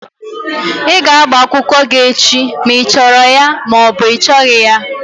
Ị ga-agba akwụkwọ gị echi ma ị chọrọ ya ma ọ bụ ị chọghị ya!